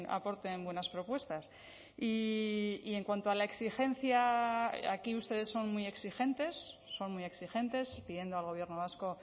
aporten buenas propuestas y en cuanto a la exigencia aquí ustedes son muy exigentes son muy exigentes pidiendo al gobierno vasco